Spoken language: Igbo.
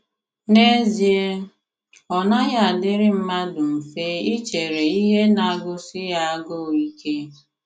N’ezie, ọ naghị adịrị mmadụ mfe ichere ihe na - agụsi ya agụụ ike.